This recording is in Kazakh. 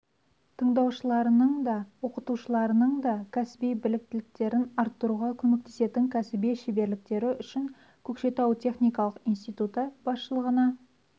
тыңдаушыларының да оқытушыларының да кәсіби біліктіліктерін арттыруға көмектесетін кәсіби шеберліктері үшін көкшетау техникалық институты басшылығына